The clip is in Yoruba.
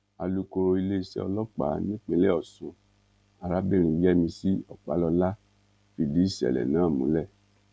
alukoro iléeṣẹ́ ọlọ́pàá nípìnlẹ̀ ọ̀ṣun arábìnrin yẹ́misí ọ̀pálọlá fìdí ìṣẹ̀lẹ̀ náà múlẹ̀